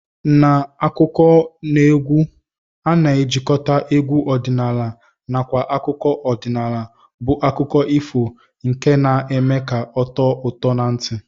N'akụkọneegwu a na-ejikọta egwu ọdịnala nakwa akụkọ ọdịnala bụ akụkọ ifo nke na-eme ka ọ tọọ ụtọ na ntị